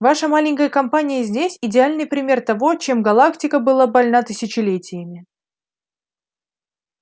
ваша маленькая компания здесь идеальный пример того чем галактика была больна тысячелетиями